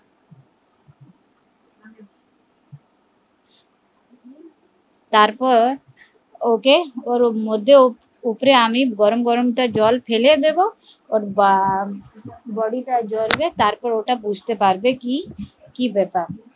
তারপর ওকে ওর মধ্যে উপরে আমি গরম গরম জল ফেলে দেব ওর body তা জ্বলবে তারপর ও বুজতে পারবে কি কি ব্যাপার